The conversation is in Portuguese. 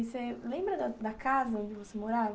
E você lembra da casa onde você morava?